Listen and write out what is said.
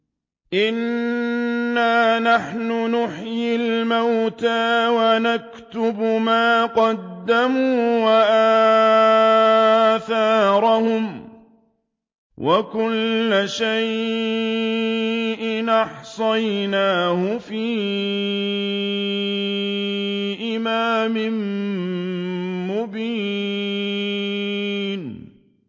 إِنَّا نَحْنُ نُحْيِي الْمَوْتَىٰ وَنَكْتُبُ مَا قَدَّمُوا وَآثَارَهُمْ ۚ وَكُلَّ شَيْءٍ أَحْصَيْنَاهُ فِي إِمَامٍ مُّبِينٍ